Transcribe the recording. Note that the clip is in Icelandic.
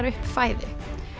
upp fæðu